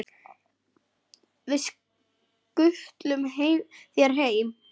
Við skutlum þér heim!